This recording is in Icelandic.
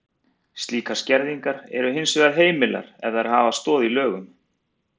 Slíkar skerðingar eru hins vegar heimilar ef þær hafa stoð í lögum.